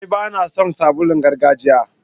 Aa, ba na son sabulun gargajiya.